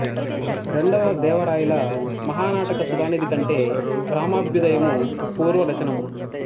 రెండవ దేవరాయల మహానాటక సుథానిధి కంటే రామాభ్యుదయము పూర్వ రచనము